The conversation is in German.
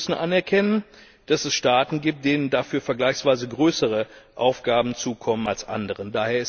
Aber wir müssen anerkennen, dass es Staaten gibt, denen dafür vergleichsweise größere Aufgaben zukommen als anderen.